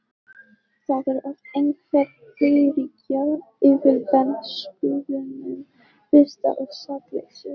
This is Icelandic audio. Það er oft einhver heiðríkja yfir bernskuvinum, birta og sakleysi.